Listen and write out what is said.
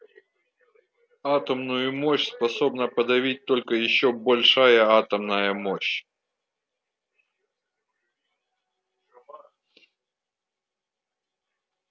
атомную мощь способна подавить только ещё большая атомная мощь